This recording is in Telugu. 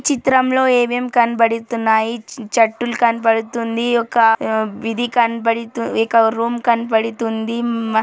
చిత్రంలో అవేవెం కనపడుతున్నాయి చెట్టులు కనబడుతుంది ఒక్క వీధి కనబడుతుంది ఒక రూమ్ కనబడుతుంది మా--